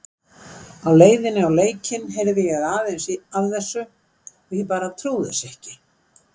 Á leiðinni í leikinn heyrði ég aðeins af þessu og ég bara trúði þessu ekki.